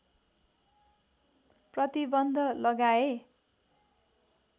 प्रतिबन्ध लगाए